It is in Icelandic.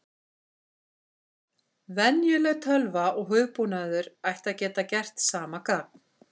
Venjuleg tölva og hugbúnaður ætti að geta gert sama gagn.